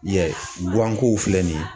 I y'a ye guwan kow filɛ nin ye.